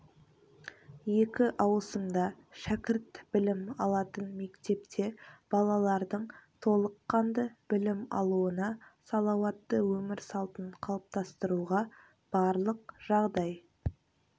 екі ауысымда шкірт білім алатын мектепте балалардың толыққанды білім алуына салауатты өмір салтын қалыптастыруға барлық жағдай